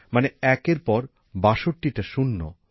মানে একের পর ৬২টা শূন্য